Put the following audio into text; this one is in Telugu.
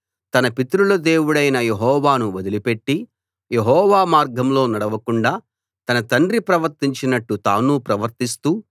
తన పితరుల దేవుడైన యెహోవాను వదిలిపెట్టి యెహోవా మార్గంలో నడవకుండా తన తండ్రి ప్రవర్తించినట్టు తానూ ప్రవర్తిస్తూ